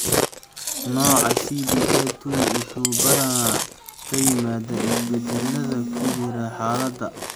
Nooca CDA II wuxuu badanaa ka yimaadaa isbeddellada ku jira hiddaha SEC23B.